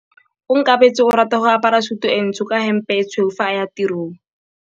Onkabetse o rata go apara sutu e ntsho ka hempe e tshweu fa a ya tirong.